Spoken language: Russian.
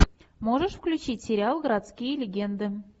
можешь включить сериал городские легенды